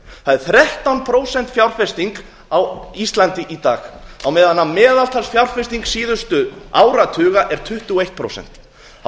það er þrettán prósent fjárfesting á íslandi í dag á meðan meðaltalsfjárfesting síðustu áratuga er tuttugu og eitt prósent það